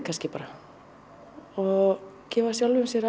kannski bara og gefa sjálfum sér